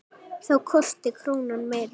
Þá kosti krónan meira.